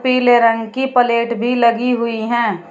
पीले रंग की प्लेट भी लगी हुई हैं।